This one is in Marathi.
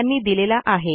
यांनी दिलेला आहे